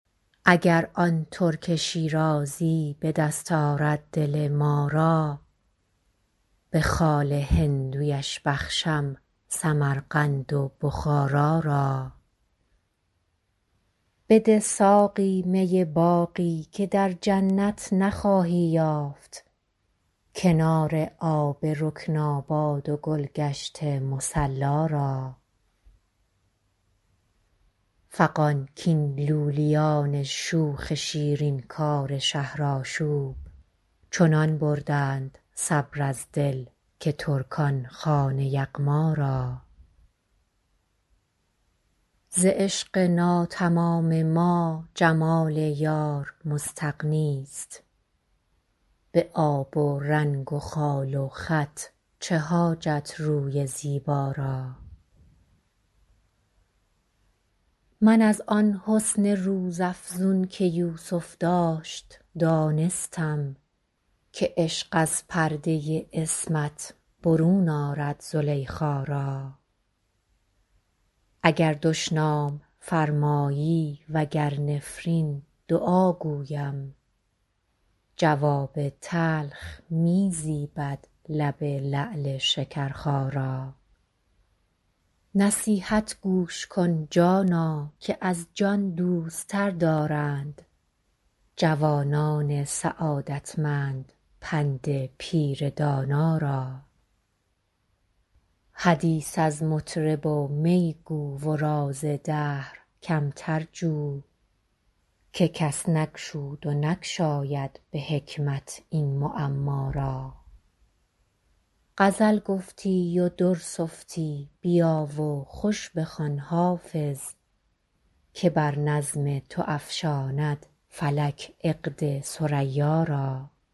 اگر آن ترک شیرازی به دست آرد دل ما را به خال هندویش بخشم سمرقند و بخارا را بده ساقی می باقی که در جنت نخواهی یافت کنار آب رکناباد و گل گشت مصلا را فغان کاین لولیان شوخ شیرین کار شهرآشوب چنان بردند صبر از دل که ترکان خوان یغما را ز عشق ناتمام ما جمال یار مستغنی است به آب و رنگ و خال و خط چه حاجت روی زیبا را من از آن حسن روزافزون که یوسف داشت دانستم که عشق از پرده عصمت برون آرد زلیخا را اگر دشنام فرمایی و گر نفرین دعا گویم جواب تلخ می زیبد لب لعل شکرخا را نصیحت گوش کن جانا که از جان دوست تر دارند جوانان سعادتمند پند پیر دانا را حدیث از مطرب و می گو و راز دهر کمتر جو که کس نگشود و نگشاید به حکمت این معما را غزل گفتی و در سفتی بیا و خوش بخوان حافظ که بر نظم تو افشاند فلک عقد ثریا را